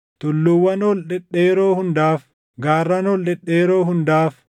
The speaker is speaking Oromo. tulluuwwan ol dhedheeroo hundaaf, gaarran ol dhedheeroo hundaaf,